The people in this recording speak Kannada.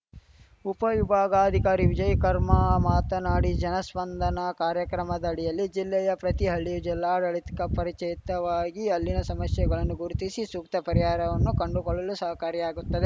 ಉಪವಿಭಾಗಾಧಿಕಾರಿ ವಿಜಯಕರ್ಮಾ ಮಾತನಾಡಿ ಜನಸ್ಪಂದನ ಕಾರ್ಯಕ್ರಮದಡಿಯಲ್ಲಿ ಜಿಲ್ಲೆಯ ಪ್ರತಿ ಹಳ್ಳಿಯು ಜಿಲ್ಲಾಡಳಿತಕ್ಕೆ ಪರಿಚಾಯತವಾಗಿ ಅಲ್ಲಿನ ಶಮಶ್ಯೆಗಳನ್ನು ಗುರುತಿಶಿ ಶೂಕ್ತ ಪರಿಹಾರವನ್ನು ಕಂಡುಕೊಳ್ಳಲು ಶಹಕಾರಿಯಾಗುತ್ತದೆ